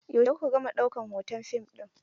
Yaushe ku ka gama ɗaukan hoton fim ɗin?